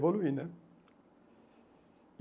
Evoluir, né?